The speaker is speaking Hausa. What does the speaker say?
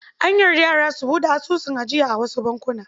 An yarda yara su buɗe asusun ajiya a wasu bankuna.